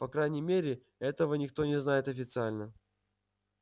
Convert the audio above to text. по крайней мере этого никто не знает официально